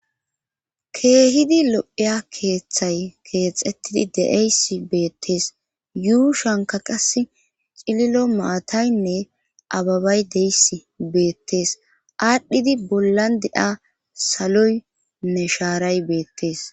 keehidi lo'eya keeththay keexxettidi de'eys beettees yuushanka qas cililo maataynne ababay deys beettees aadhdhidi bollan de'a saloynne shaaray beettees